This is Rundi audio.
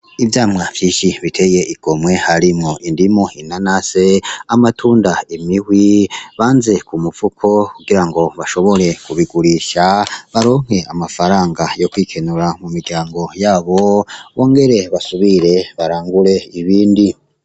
Ivyamwa vyinshi biteye igomwe, harimwo indimu, inanasi ,amatunda ,imihwi ,banze ku mifuko kugira ngo bashobore kubigurisha baronke amafaranga yo kwikenura mu miryango yabo bongere basubire barangure ibindi.